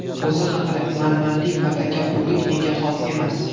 O‘zi haqida: Manmanlik va takabburlik menga xos emas.